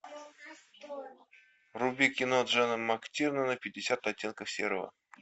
вруби кино джона мактирнана пятьдесят оттенков серого